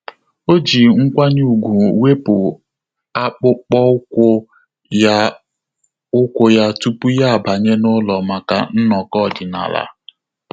Ọ́ jì nkwanye ùgwù wèpụ́ ákpụ́kpọ́ ụ́kwụ́ ya ụ́kwụ́ ya tupu yá ábànyé n’ụ́lọ́ màkà nnọkọ ọ́dị́nála.